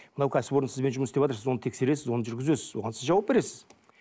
мынау кәсіпорын сізбен жұмыс істеватыр сіз оны тексересіз оны жүргізесіз оған сіз жауап бересіз